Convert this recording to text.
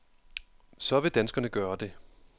Så vil danskerne gøre det.